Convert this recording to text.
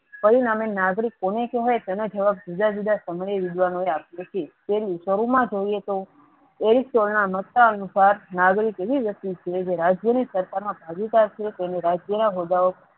પરિણામે નાગરિક કોને કેહવાય તેના જોવા જુદા જુદા સમય video નુ રાખ્યુ નહી શરુ મા જોયીએ તો એક ના મત્તા અનુસાર નાગરિક એવી વસ્તુ છે જે રાજ્ય ની સરકાર મા ભાગીદાર છે તેને રાજ્ય ના